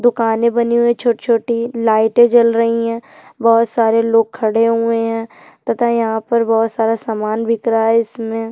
दुकाने बनी हुई है छोटी -छोटी लाईटे जल रही है बोहोत सारे लोग खड़े हुए है तथा यहाँ पर बोहोत सारा सामान बिखरा है इसमें --